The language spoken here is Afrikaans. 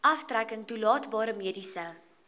aftrekking toelaatbare mediese